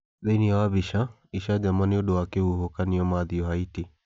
Thĩinĩ wa Mbica: Icanjama nĩ ũndũ wa kĩhuhũkanio Matthew Haiti